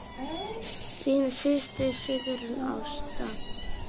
Þín systir, Sigrún Ásta.